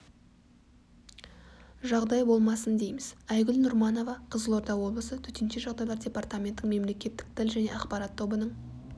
жағдай болмасын дейміз айгүл нұрманова қызылорда облысы төтенше жағдайлар департаментінің мемлекеттік тіл және ақпарат тобының